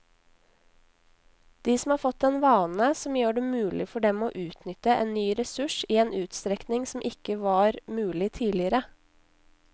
De har fått en vane som gjør det mulig for dem å utnytte en ny ressurs i en utstrekning som ikke var mulig tidligere.